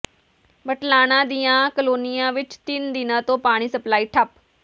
ਬਲਟਾਣਾ ਦੀਆਂ ਕਲੋਨੀਆਂ ਵਿੱਚ ਤਿੰਨ ਦਿਨਾਂ ਤੋਂ ਪਾਣੀ ਸਪਲਾਈ ਠੱਪ